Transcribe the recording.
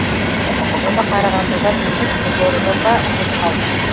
оны қарағандыдан емес қызылордадан ба деп қалдым